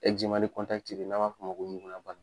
de n'an m'a f'ɔ ma ko ɲugunaba